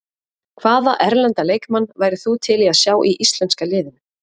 Hvaða erlenda leikmann værir þú til í að sjá í íslenska liðinu?